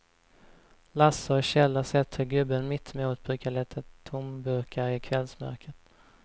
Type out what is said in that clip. Lasse och Kjell har sett hur gubben mittemot brukar leta tomburkar i kvällsmörkret.